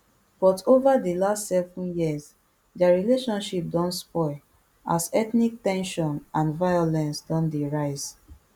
but ova di last seven years dia relationship don spoil as ethnic ten sion and violence don dey rise